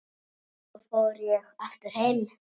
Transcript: Svo ég fór aftur heim.